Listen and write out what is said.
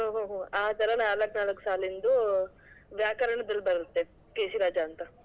ಹ್ಮ್ ಹ್ಮ್ ಹ್ಮ್ ಆ ತರಾ ನಾಲ್ಕ್ ನಾಲ್ಕು ಸಾಲಿಂದು ವ್ಯಾಕರಣದಲ್ಲಿ ಬರುತ್ತೆ ಕೇಶಿ ರಾಜಾ ಅಂತ.